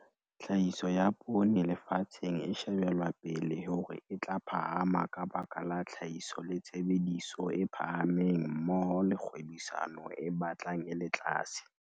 Tlhahiso ya poone lefatsheng e shebelwa pele hore e tla phahama ka baka la tlhahiso le tshebediso e phahameng mmoho le kgwebisano e batlang e le tlase.